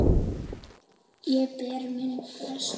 Ég ber minn brest.